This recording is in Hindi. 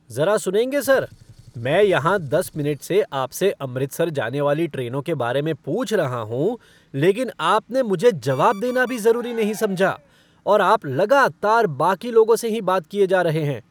ज़रा सुनेंगे सर! मैं यहाँ दस मिनट से आपसे अमृतसर जाने वाली ट्रेनों के बारे में पूछ रहा हूँ, लेकिन आपने मुझे जवाब देना भी ज़रूरी नहीं समझा और आप लगातार बाकी लोगों से ही बात किए जा रहे हैं।